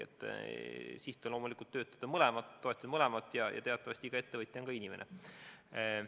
Siht on loomulikult toetada mõlemat ja teatavasti iga ettevõtja on ka inimene.